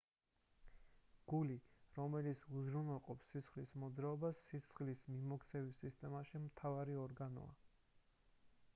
გული რომელიც უზრუნველყოფს სისხლის მოძრაობას სისხლის მიმოქცევის სისტემაში მთავარი ორგანოა